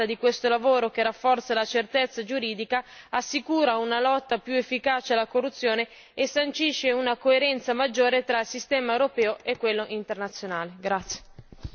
Sono quindi soddisfatta di questo lavoro, che rafforza la certezza giuridica, assicura una lotta più efficace alla corruzione e sancisce una coerenza maggiore tra il sistema europeo e quello internazionale.